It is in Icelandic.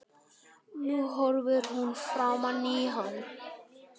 Nú horfir hún framan í hann.